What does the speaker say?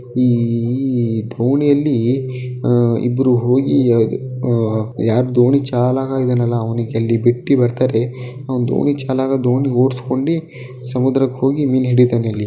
ಈ ದೋಣಿಯಲ್ಲಿ ಅಹ್ ಇಬ್ಬರೂ ಹೋಗಿ ಅಹ್ ಯಾರು ದೋಣಿ ಚಾಲ ಆಗಿರಲ್ಲ ಅವನಿಗೆ ಅಲ್ಲಿ ಬಿಟ್ಟು ಬರ್ತಾರೆ. ಅವನ್ ದೋಣಿಚಾಲಕ ದೋಣಿ ಓಡಿಸಿಕೊಂಡಿ ಸಮುದ್ರಕ್ಕ ಹೋಗಿ ಮೀನ ಹಿಡಿತಾನ ಇಲ್ಲಿ.